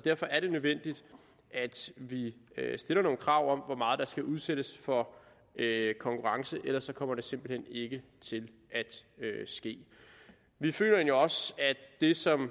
derfor er det nødvendigt at vi stiller nogle krav om hvor meget der skal udsættes for konkurrence ellers kommer det simpelt hen ikke til at ske vi føler egentlig også at det som